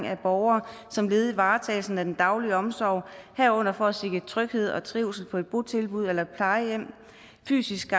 af borgere som led i varetagelsen af den daglige omsorg herunder for at sikre tryghed og trivsel på et botilbud eller plejehjem fysisk